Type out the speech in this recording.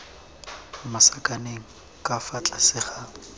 masakaneng ka fa tlase ga